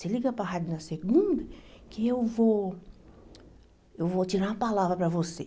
Você liga para a rádio na segunda, que eu vou eu vou tirar uma palavra para você.